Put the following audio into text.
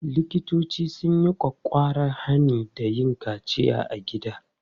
Likitoci sun yi ƙwaƙƙwaran hani da yin kaciya a gida.